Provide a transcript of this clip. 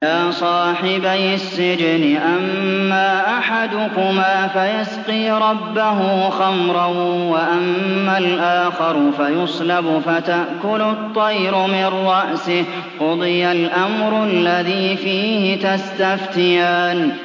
يَا صَاحِبَيِ السِّجْنِ أَمَّا أَحَدُكُمَا فَيَسْقِي رَبَّهُ خَمْرًا ۖ وَأَمَّا الْآخَرُ فَيُصْلَبُ فَتَأْكُلُ الطَّيْرُ مِن رَّأْسِهِ ۚ قُضِيَ الْأَمْرُ الَّذِي فِيهِ تَسْتَفْتِيَانِ